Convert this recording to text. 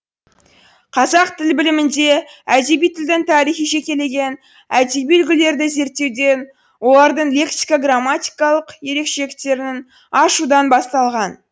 қазақ тіл білімінде әдеби тілдің тарихы жекелеген әдеби үлгілерді зерттеуден олардың лексика грамматикалық ерекшеліктерінің ашудан басталған